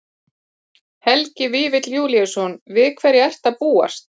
Helgi Vífill Júlíusson: Við hverju ertu að búast?